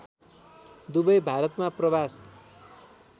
दुवै भारतमा प्रवास